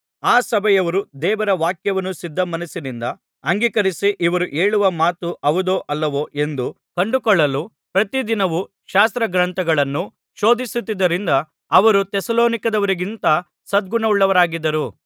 ಆ ಸಭೆಯವರು ದೇವರ ವಾಕ್ಯವನ್ನು ಸಿದ್ಧ ಮನಸ್ಸಿನಿಂದ ಅಂಗೀಕರಿಸಿ ಇವರು ಹೇಳುವ ಮಾತು ಹೌದೋ ಅಲ್ಲವೋ ಎಂದು ಕಂಡುಕೊಳ್ಳಲು ಪ್ರತಿದಿನವೂ ಶಾಸ್ತ್ರಗ್ರಂಥಗಳನ್ನು ಶೋಧಿಸುತ್ತಿದ್ದದರಿಂದ ಅವರು ಥೆಸಲೋನಿಕದವರಿಗಿಂತ ಸದ್ಗುಣವುಳವರಾಗಿದ್ದರು